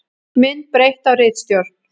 Mynd breytt af ritstjórn.